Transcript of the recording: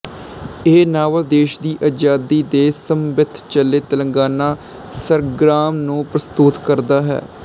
ਇਹ ਨਾਵਲ ਦੇਸ਼ ਦੀ ਆਜ਼ਾਦੀ ਦੇ ਸਮਵਿੱਥ ਚਲੇ ਤਿਲੰਗਾਨਾ ਸੰਗਰਾਮ ਨੂੰ ਪ੍ਰਸਤੁਤ ਕਰਦਾ ਹੈ